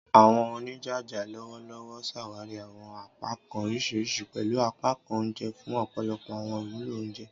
Àwọn onijaja lọwọlọwọ ṣawari àwọn apakan oriṣiriṣi, pẹlu apakan oúnjẹ, fun ọpọlọpọ àwọn iwulo onjẹ.